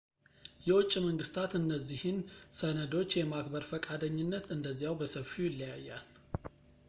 የውጭ መንግስታት እነዚህን ሰነዶች የማክበር ፈቃደኝነት እንደዚያው በሰፊው ይለያያል